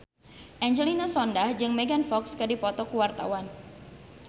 Angelina Sondakh jeung Megan Fox keur dipoto ku wartawan